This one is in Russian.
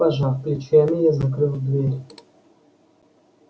пожав плечами я закрыл дверь